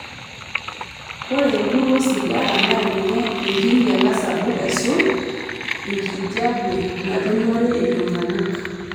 Ore empuruo osigara na ninye enkinyiala sapuk aisul enkijiepe natumore iltungana.